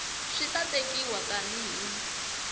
swi ta tekiwa tani hi